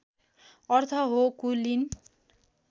अर्थ हो कुलीन